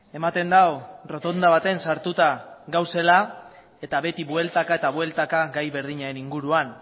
ematen du errotonda baten sartuta gaudela eta beti bueltaka eta bueltaka gai berdinaren inguruan